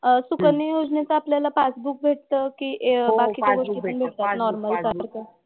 अह सुकन्या योजनेचं आपल्याला पासबुक भेटतं की बाकीच्या गोष्टी पण भेटतात नॉर्मल सारखं.